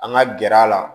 An ka gɛrɛ a la